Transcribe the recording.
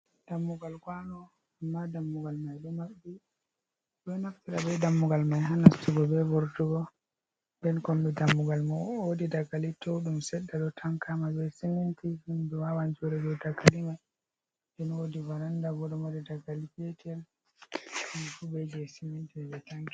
Dammugal kwano amma dammugal mai ɗo maɓɓi ɓeɗo naftara be dammugal mai ha nastugo be vurtugo, den kombi dammugal mai wodi dagali tou ɗum seɗɗa ɗo tankama be siminti himɓɓe wawan joɗa dou daga liman. Den wodi varanda bo ɗo mari dagali petal kan jum fe be je siminti ɓe tankiri.